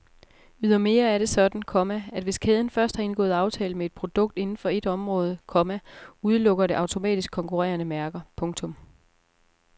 Ydermere er det sådan, komma at hvis kæden først har indgået aftale med et produkt inden for et område, komma udelukker det automatisk konkurrerende mærker. punktum